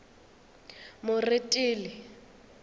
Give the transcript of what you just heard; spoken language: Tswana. moretele